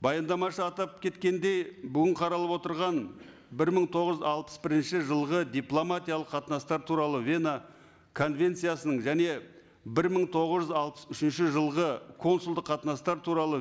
баяндамашы атап кеткендей бүгін қаралып отырған бір мың тоғыз жүз алпыс бірінші жылғы дипломатиялық қатынастар туралы вена конвенциясының және бір мың тоғыз жүз алпыс үшінші жылғы консулдық қатынастар туралы